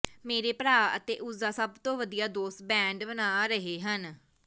ਮੇਰੇ ਭਰਾ ਅਤੇ ਉਸ ਦਾ ਸਭ ਤੋਂ ਵਧੀਆ ਦੋਸਤ ਬੈਂਡ ਬਣਾ ਰਹੇ ਹਨ